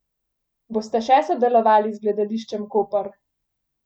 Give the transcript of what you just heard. Boste še sodelovali z Gledališčem Koper?